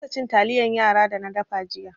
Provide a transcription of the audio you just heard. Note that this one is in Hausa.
Na kasa cin taliyan yara da na dafa jiya.